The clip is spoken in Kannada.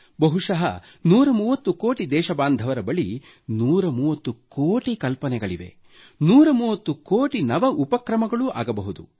ಬಹುಶಃ 130 ಕೋಟಿ ದೇಶ ಬಾಂಧವರ ಬಳಿ 130 ಕೋಟಿ ಕಲ್ಪನೆಗಳಿವೆ 130 ಕೋಟಿ ನವ ಉಪಕ್ರಮಗಳೂ ಆಗಬಹುದು